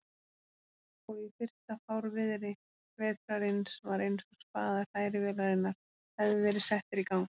Og í fyrsta fárviðri vetrarins var einsog spaðar hrærivélarinnar hefðu verið settir í gang.